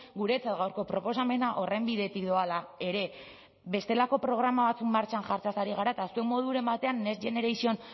guretzat gaurko proposamena horren bidetik doala ere bestelako programa batzuk martxan jartzeaz ari gara eta zuek moduren batean next generation